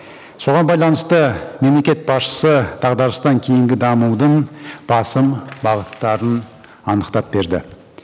соған байланысты мемлекет басшысы дағдарыстан кейінгі дамудың басым бағыттарын анықтап берді